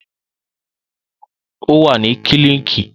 O wa ni kílinikì